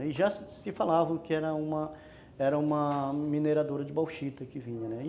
E já se falava que era uma era uma mineradora de bauxita que vinha, né